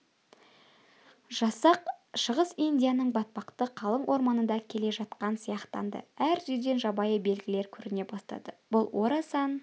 жасақ шығыс индияның батпақты қалың орманында келе жатқан сияқтанды әр жерден жабайы белгілер көріне бастады бұл орасан